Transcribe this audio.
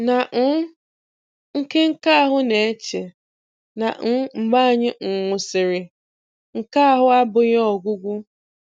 Na um nke nke ahụ na-eche, na um mgbe anyị um nwụsịrị, nke ahụ abụghị ọgwụgwụ.